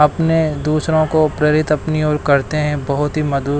अपने दूसरों को प्रेरित अपनी ओर करते हैं बहुत ही मधुर--